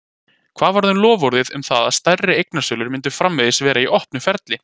Hvað varð um loforðið um það að stærri eignasölur myndu framvegis vera í opnu ferli?